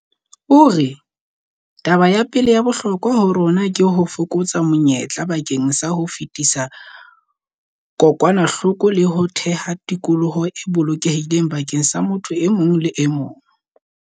O re, "Taba ya pele ya bohlokwa ho rona ke ho fokotsa menyetla bakeng sa ho fetisa kokwanahloko le ho theha tikoloho e bolokehileng bakeng sa motho e mong le e mong."